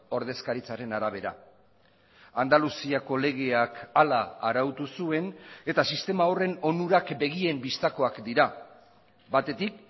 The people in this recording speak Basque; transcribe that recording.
ordezkaritzaren arabera andaluziako legeak hala arautu zuen eta sistema horren onurak begien bistakoak dira batetik